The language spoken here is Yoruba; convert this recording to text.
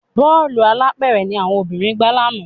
Bọ́ọ̀lù alápẹ̀rẹ̀ ni àwọn obìnrin gbá lánàá